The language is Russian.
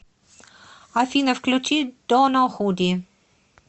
афина включи доно худи